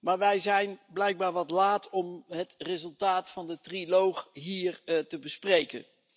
Maar wij zijn blijkbaar wat laat om het resultaat van de trialoog hier te bespreken.